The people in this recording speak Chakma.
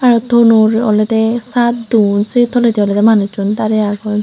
te thonor olode saat dun se toledi olode manuchun darey agon.